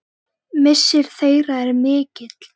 Missir þeirra er mikill.